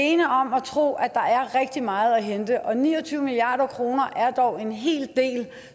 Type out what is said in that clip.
at tro at der er rigtig meget at hente og ni og tyve milliard kroner er dog en hel del